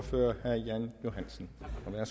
der er